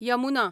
Yamuna